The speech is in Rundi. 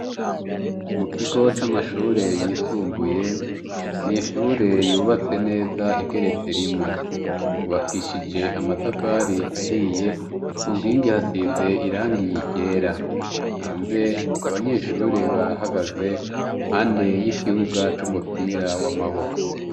Mu kigo c'amashure yisumbuye ni ishure yubatse neza igeretse rimwe mbubakishije amatafari ahiye ku nkingi hasize irangiye irera hanze abanyeshure bahagaze mpande y'ikibuga c'umupira w'amaboko.